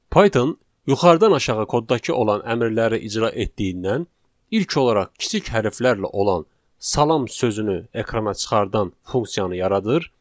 Python yuxarıdan aşağı kodda olan əmrləri icra etdiyindən ilk olaraq kiçik hərflərlə olan salam sözünü ekrana çıxardan funksiyanı yaradır,